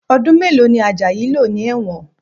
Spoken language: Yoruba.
Ọdún mélòó ni Ajayi lò ní ẹ̀wọ̀n?